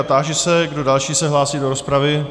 A táži se, kdo další se hlásí do rozpravy.